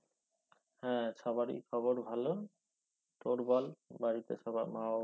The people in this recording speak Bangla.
হ্যাঁ সবারি খবর ভালো তোর বল বাড়িতে সবার মা বাবা